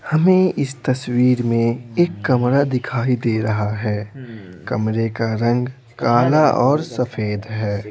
हमें इस तस्वीर में एक कमरा दिखाई दे रहा है कमरे का रंग काला और सफेद है।